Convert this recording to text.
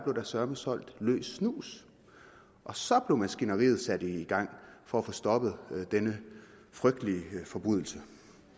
søreme blev solgt løs snus og så blev maskineriet sat i gang for at få stoppet denne frygtelige forbrydelse